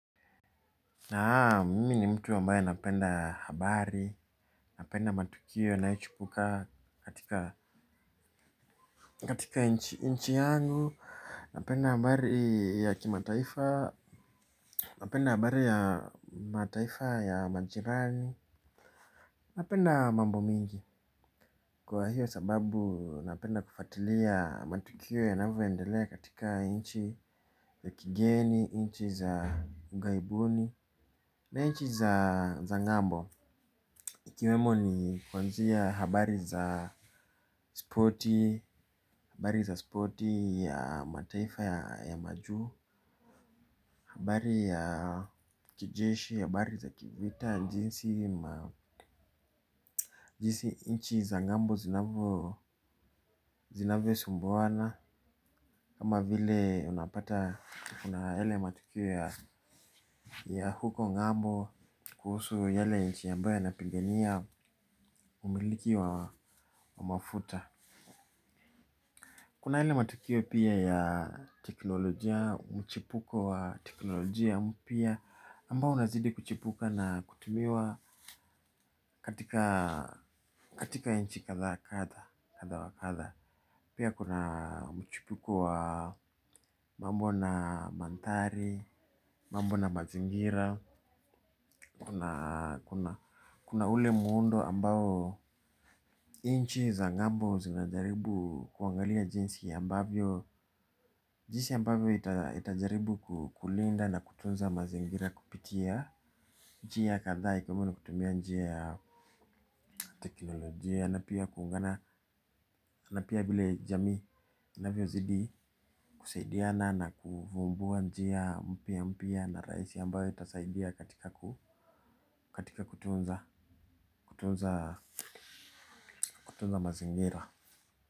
Naam, mimi ni mtu ambaye anapenda habari, napenda matukio yanayochipuka katika inchi yangu. Napenda habari ya kimataifa, napenda habari ya mataifa ya majirani. Napenda mambo mingi. Kwa hiyo sababu napenda kufuatilia matukio yanavyoendelea katika inchi ya kigeni, inchi za ughaibuni. Na nchi za ng'ambo ikiwemo ni kuanzia habari za spoti, habari za spoti ya mataifa ya majuu, habari ya kijeshi, habari za kivita jinsi inchi za ng'ambo zinavyosumbuana. Kama vile unapata kuna yale matukio ya huko ng'ambo kuhusu yale inchi ambayo yanapigania umiliki wa mafuta. Kuna yale matukio pia ya teknolojia, mchipuko wa teknolojia mpya. Ambao unazidi kuchipuka na kutumiwa katika nchi kadha kadha, kadha wa kadha. Pia kuna mchipuko wa mambo na mandhari, mambo na mazingira. Kuna ule muundo ambao inchi za ng'ambo zinajaribu kuangalia jinsi ambavyo, jinsi ambavyo itajaribu kulinda na kutunza mazingira kupitia njia kadhaa ikiwemo ni kutumia njia teknolojia na pia kuungana, na pia vile jamii inavyozidi kusaidiana na kuvumbua njia mpya mpya na rahisi ambayo itasaidia katika kutunza, kutunza, kutunza mazingira.